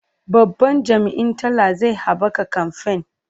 Babban jami'in talla zai haɓaka kamfen.